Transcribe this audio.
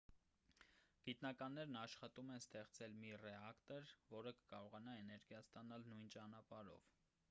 գիտնականներն աշխատում են ստեղծել մի ռեակտոր որը կկարողանա էներգիա ստանալ նույն ճանապարհով